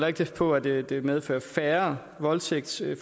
ikke på at det det medfører færre voldtægtsforsøg